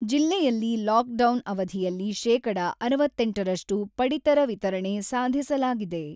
ಜಿಲ್ಲೆಯಲ್ಲಿ ಲಾಕ್‌ಡೌನ್ ಅವಧಿಯಲ್ಲಿ ಶೇಕಡ ಅರವತ್ತೆಂಟರಷ್ಟು ಪಡಿತರ ವಿತರಣೆ ಸಾಧಿಸಲಾಗಿದೆ.